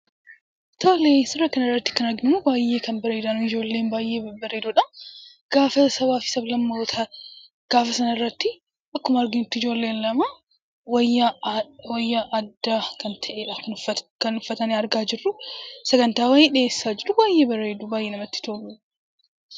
Tole suuraa kanarratti kan arginu baay'ee kan bareedanii ijoolleen baay'ee babbareedoo dha. Gaafa sabaa fi sab-lammootaa gaafa isaan irratti, akkuma arginutti ijoolleen lama wayyaa addaa kan ta'eedha kan uffatanii argaa jirru. Sagantaa wayii dhiyeessaa jiru. Baay'ee bareedu; baay'ee namatti tolu.